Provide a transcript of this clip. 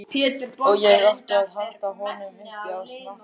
Og ég átti að halda honum uppi á snakki!